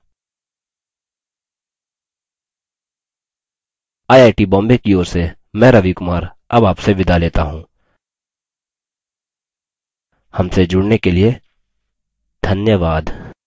I I T Bombay की ओर से मैं रवि कुमार अब आपसे विदा लेता हूँ हमसे जुड़ने के लिए धन्यवाद